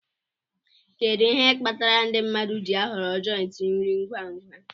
Kedu ihe kpatara ndị mmadụ ji ahọrọ jòintí nri ngwa ngwa